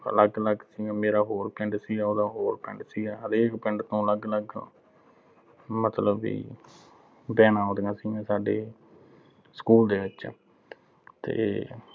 ਅਲੱਗ ਅਲੱਗ ਸੀਗਾ। ਮੇਰਾ ਹੋਰ ਪਿੰਡ ਸੀਗਾ, ਉਹਦਾ ਹੋਰ ਪਿੰਡ ਸੀਗਾ। ਹਰੇਕ ਪਿੰਡ ਤੋਂ ਅਲੱਗ ਅਲੱਗ ਮਤਲਬ ਵੀ vans ਆਉਂਦੀਆਂ ਸੀਗੀਆ, ਸਾਡੇ school ਦੇ ਵਿੱਚ ਤੇ